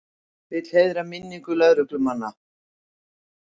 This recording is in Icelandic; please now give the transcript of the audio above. Vill heiðra minningu lögreglumanna